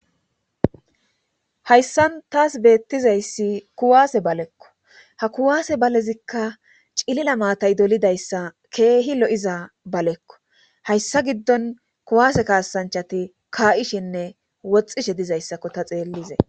hayssan taas beettizayssi kuwaase balekko ha kuwaase balezikka cilila maatay dolidayssa keehi lo7iza balekko hayssa giddon kuwaase kaasanchati kaa7ishinne woxxishe dizayssakko ta xeellize